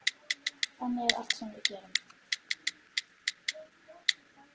Þannig er allt sem við gerum.